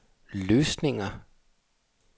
løsninger